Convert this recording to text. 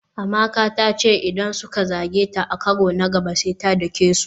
Amaka ta ce idan suka zage ta a karo na gaba sai ta doke su.